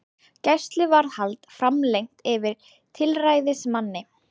Gæsluvarðhald framlengt yfir tilræðismanni